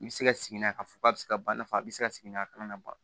N bɛ se ka sigi n'a ye k'a fɔ k'a bɛ se ka ban n'a fɔ a bɛ se ka sigi n'a kalama